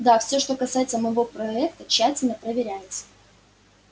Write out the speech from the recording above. да всё что касается моего проекта тщательно проверяется